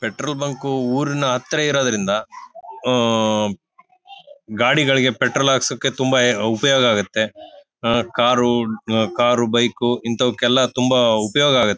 Petrol bank ಊರಿನ ಹತ್ರ ಇರುವುದರಿಂದ ಆಹ್ಹ್ ಗಾಡಿಗಳಿಗೆ ಪೆಟ್ರೋಲ್ ಹಾಕಿಸಕ್ಕೆ ತುಂಬಾ ಉಪಯೋಗ ಆಗತ್ತೆ. ಅಹ್ ಕಾರು ಕಾರು ಬೈಕು ಇಂತವಕ್ಕೆಲ್ಲಾ ತುಂಬಾ ಉಪಯೋಗ ಆಗತ್ತೆ.